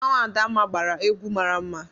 Mmanwụ Adamma gbara egwu mara mma.